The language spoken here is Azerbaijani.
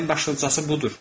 Ən başlıcası budur.